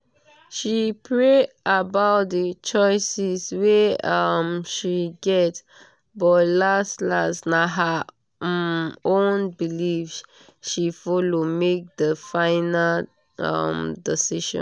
she pray about d choices wey um she get but las-las na her um own belief she follow make di final um decision.